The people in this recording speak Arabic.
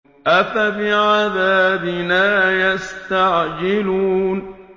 أَفَبِعَذَابِنَا يَسْتَعْجِلُونَ